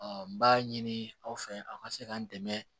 n b'a ɲini aw fɛ a ka se ka n dɛmɛ